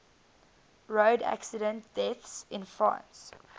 road accident deaths in france